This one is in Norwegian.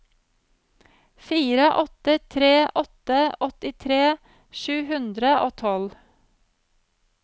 fire åtte tre åtte åttitre sju hundre og tolv